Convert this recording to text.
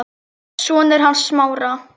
Sonur hans Smára.